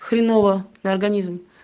хреново на организм